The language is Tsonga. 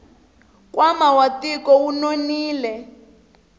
nkwama wa tiko wu nonile